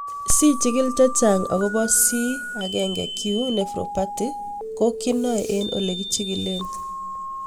Si chigil chechang' akopo C1Q nephropathy ko kinae eng' ole kichigilee